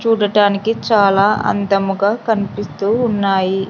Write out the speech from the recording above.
చూడటానికి చాలా అందాముగా కన్పిస్తూ ఉన్నాయి.